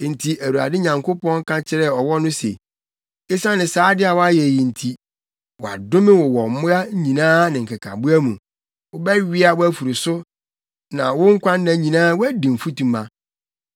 Enti Awurade Nyankopɔn ka kyerɛɛ ɔwɔ no se, “Esiane saa ade a woayɛ yi nti, “Wɔadome wo wɔ mmoa nyinaa ne nkekaboa mu. Wobɛwea wʼafuru so, na wo nkwanna nyinaa woadi mfutuma.